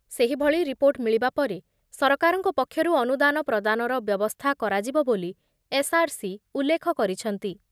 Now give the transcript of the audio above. ସେହିଭଳି ରିପୋର୍ଟ ମିଳିବା ପରେ ସରକାରଙ୍କ ପକ୍ଷରୁ ଅନୁଦାନ ପ୍ରଦାନର ବ୍ୟବସ୍ଥା କରାଯିବ ବୋଲି ଏସ୍‌ଆର୍‌ସି ଉଲ୍ଲେଖ କରିଛନ୍ତି ।